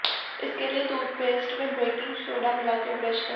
इसके लिए टूथपेस्ट में बेकिंग सोडा मिलाकर ब्रश करें